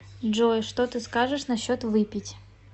джой что ты скажешь насчет выпить